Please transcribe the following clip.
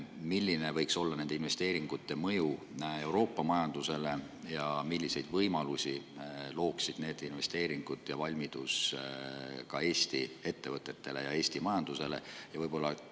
Milline võiks olla nende investeeringute mõju Euroopa majandusele ja milliseid võimalusi looksid need investeeringud ja valmidus Eesti ettevõtetele, meie majandusele?